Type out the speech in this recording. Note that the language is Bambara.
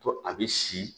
To a bɛ si